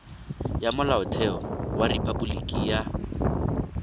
ya molaotheo wa rephaboliki ya